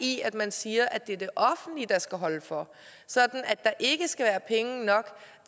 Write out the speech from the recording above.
i at man siger at det er det offentlige der skal holde for sådan at der ikke skal være penge nok